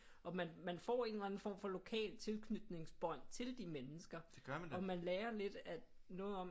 Og man man får en eller anden form for lokal tilknytningsbånd til de mennesker og man lærer lidt at noget om